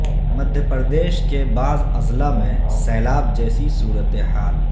مدھیہ پردیش کے بعض اضلاع میں سیلاب جیسی صورتحال